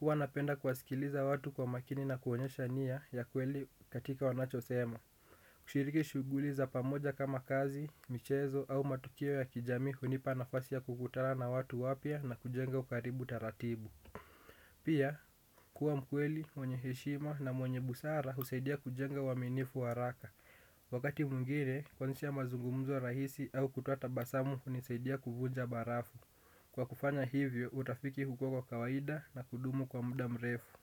Huwa napenda kuwasikiliza watu kwa makini na kuonyesha nia ya kweli katika wanachosema. Kushiriki shuguli za pamoja kama kazi, michezo au matukio ya kijamii hunipa nafasi ya kukutana na watu wapya na kujenga ukaribu taratibu. Pia kuwa mkweli, mwenye heshima na mwenye busara husaidia kujenga uaminifu wa haraka. Wakati mwingine, kwanzisha mazungumzo rahisi au kutoa tabasamu hunisaidia kuvunja barafu. Kwa kufanya hivyo, urafiki hukua kwa kawaida na kudumu kwa muda mrefu.